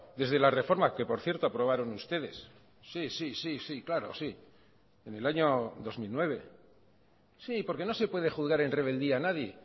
desde la reforma que por cierto aprobaron ustedes sí sí sí sí claro sí en el año dos mil nueve sí porque no se puede juzgar en rebeldía a nadie